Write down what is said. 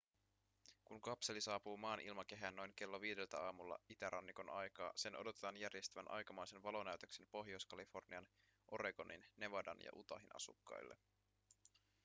kun kapseli saapuu maan ilmakehään noin kello viideltä aamulla itärannikon aikaa sen odotetaan järjestävän aikamoisen valonäytöksen pohjois-kalifornian oregonin nevadan ja utahin asukkaille